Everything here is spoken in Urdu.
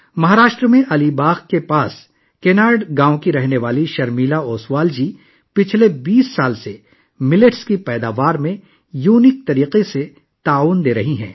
مہاراشٹر کے علی باغ کے قریب کناڈ گاؤں کی رہنے والی شرمیلا اوسوال گزشتہ 20 سالوں سے باجرے کی پیداوار میں منفرد انداز میں اپنا تعاون دے رہی ہیں